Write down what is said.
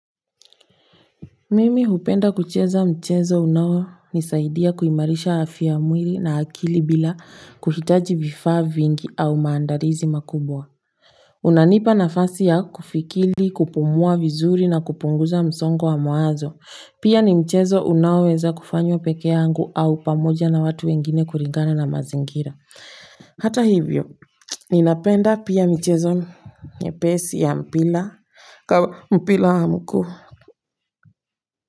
Mimi hupenda kucheza mchezo unaonisaidia kuimarisha afya ya mwili na akili bila kuhitaji vifaa vingi au maandalizi makubwa unanipa nafasi ya kufikiri kupumua vizuri na kupunguza msongo wa mawazo pia ni mchezo unaoweza kufanywa pekee yangu au pamoja na watu wengine kulingana na mazingira hata hivyo, ninapenda pia michezo nyepesi ya mpira mpira wa mguu kwa hivyo.